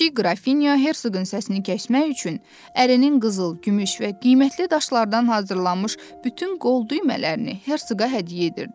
Kiçik qrafinya herqın səsini kəsmək üçün ərinin qızıl, gümüş və qiymətli daşlardan hazırlanmış bütün qol düymələrini herqa hədiyyə edirdi.